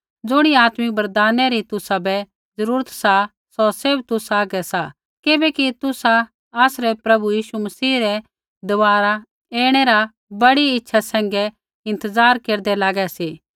ज़ुणी आत्मिक वरदाना री तुसाबै ज़रूरत सौ सैभ तुसा हागै सा ज़ैबैकि तुसा आसरै प्रभु यीशु मसीह रै दबारा ऐणै रा बड़ी इच्छा सैंघै इंतज़ार केरदै लागै सी